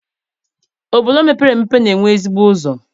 Obodo mepere emepe na-enwe ezigbo ụzọ